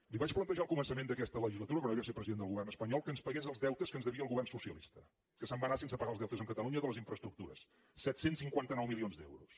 li vaig plantejar al començament d’aquesta legislatura quan ell va ser president del govern espanyol que ens pagués els deutes que ens devia el govern socialista que se’n va anar sense pagar els deutes amb catalunya de les infraestructures set cents i cinquanta nou milions d’euros